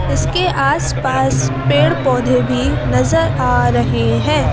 इसके आसपास पेड़-पौधे भी नजर आ रहे हैं।